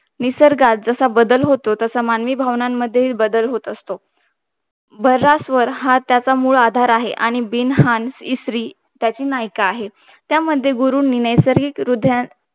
निसर्गात जसा बदल होतो तसा मानवी भव्नानामढे थे बदल होत असतो भरास्वार हा त्याचा मूळ आधार आहे आणि बिन्हाण इसारी त्याची नाईका आहे त्यामध्ये गुरूंनी नैसर्गिक ह्रदयात